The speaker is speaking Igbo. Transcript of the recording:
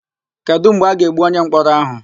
Kedụ mgbe a ga-egbu onyemkpọrọ áhụ̀?